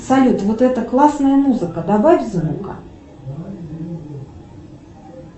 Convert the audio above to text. салют вот это классная музыка добавь звука